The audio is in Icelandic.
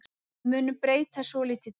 Við munum breyta svolítið til.